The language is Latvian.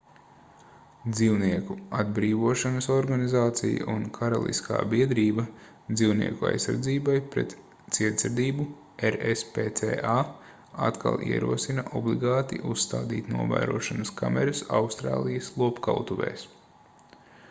dzīvnieku atbrīvošanas organizācija un karaliskā biedrība dzīvnieku aizsardzībai pret cietsirdību rspca atkal ierosina obligāti uzstādīt novērošanas kameras austrālijas lopkautuvēs